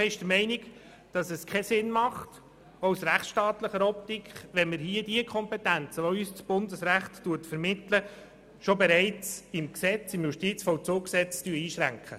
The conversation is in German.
Die BDP ist der Meinung, es mache auch aus rechtsstaatlicher Optik keinen Sinn, hier die Kompetenzen, die uns das Bundesrecht vermittelt, bereits im Justizvollzugsgesetz einschränken.